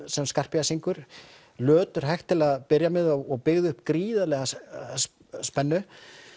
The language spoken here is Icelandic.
sem Scarpia syngur til að byrja með og byggði upp gríðarlega spennu